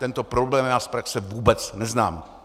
Tento problém já z praxe vůbec neznám.